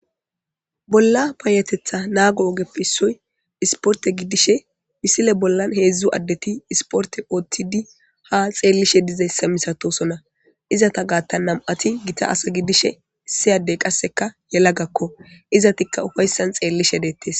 Bolla payateththa naago oggeppe issoy issportte gidishi missile bollan heezhzhu adeti issiportte oththidi ha xelishe dizayssa missatosona izetta gaththan nam'ati gitta ase gidishin issi adey qasseka yelagako izetika ufayssan xelishe dettes.